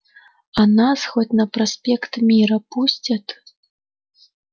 а нас хоть на проспект мира пустят